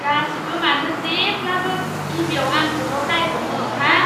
गासिबो मानो जेब्लाबो गिबियाव आंखौल' दाय हमो हा?